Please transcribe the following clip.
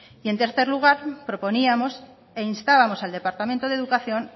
y en tercer lugar proponíamos e instábamos al departamento de educación